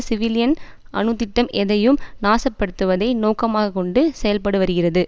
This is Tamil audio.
சிவிலியன் அணு திட்டம் எதையும் நாசப்படுத்துவதை நோக்கமாகக்கொண்டு செயல்படுவருகிறது